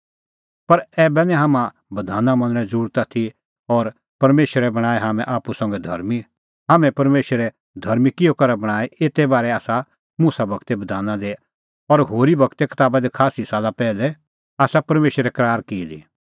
पर ऐबै निं हाम्हां बधाना मनणें ज़रुरत आथी और परमेशरै बणांऐं हाम्हैं आप्पू संघै धर्मीं हाम्हैं परमेशरै धर्मीं किहअ करै बणांऐं एते बारै आसा मुसा गूरे बधाना दी और होरी गूरे कताबा दी खास्सी साला पैहलै आसा परमेशरै करार की दी